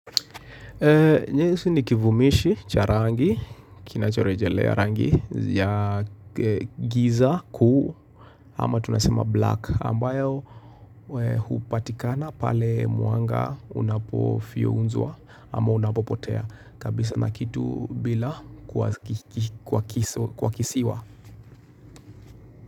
Nyeusi ni kivumishi cha rangi kinachorejelea rangi ya giza kuu ama tunasema black ambayo hupatikana pale muanga unapo fyunzwa ama unapo potea kabisa na kitu bila kuakisiwa.